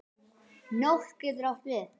Nótt getur átt við